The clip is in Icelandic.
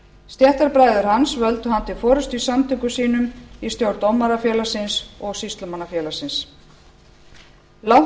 stéttarbræður hans völdu hann til forustu í samtökum sínum í stjórn dómarafélagsins og sýslumannafélagsins langt